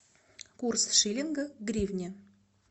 курс шиллинга к гривне